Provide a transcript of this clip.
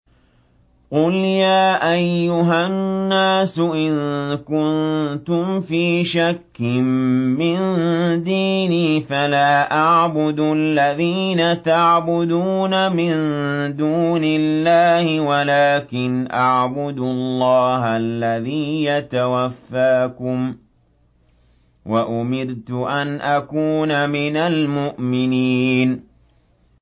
قُلْ يَا أَيُّهَا النَّاسُ إِن كُنتُمْ فِي شَكٍّ مِّن دِينِي فَلَا أَعْبُدُ الَّذِينَ تَعْبُدُونَ مِن دُونِ اللَّهِ وَلَٰكِنْ أَعْبُدُ اللَّهَ الَّذِي يَتَوَفَّاكُمْ ۖ وَأُمِرْتُ أَنْ أَكُونَ مِنَ الْمُؤْمِنِينَ